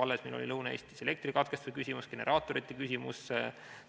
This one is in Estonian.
Alles meil oli Lõuna-Eestis elektrikatkestuse küsimus, generaatorite küsimus,